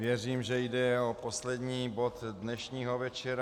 Věřím, že jde o poslední bod dnešního večera.